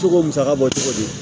Se k'o musaka bɔ cogo di